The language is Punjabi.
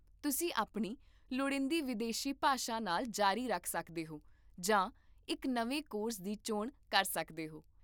ਤੁਸੀਂ ਆਪਣੀ ਲੋੜੀਂਦੀ ਵਿਦੇਸੀ ਭਾਸ਼ਾ ਨਾਲ ਜਾਰੀ ਰੱਖ ਸਕਦੇ ਹੋ ਜਾਂ ਇੱਕ ਨਵੇਂ ਕੋਰਸ ਦੀ ਚੋਣ ਕਰ ਸਕਦੇ ਹੋ